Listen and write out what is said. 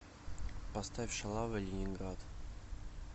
поставь шалавы ленинград